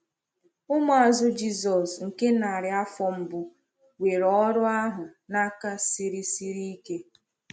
Ụmụazụ Jisọs nke narị afọ mbụ were ọrụ ahụ n’aka siri siri ike.